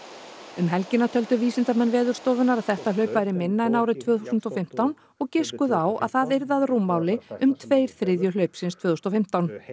um helgina töldu vísindamenn Veðurstofunnar að þetta hlaup væri minna en árið tvö þúsund og fimmtán og giskuðu á að það yrði að rúmmáli um tveir þriðju hlaupsins tvö þúsund og fimmtán